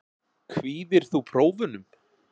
Kvíðir þú prófunum?